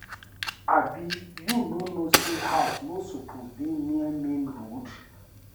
Abi you no know say house no suppose dey near main road?